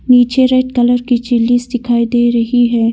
नीचे red colour की chillies दिखाई दे रही है।